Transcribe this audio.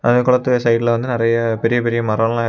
அந்த குளத்தோட சைடுல வந்து நெறைய பெரிய பெரிய மரோ எல்லா இருக்கு.